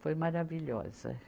Foi maravilhosa.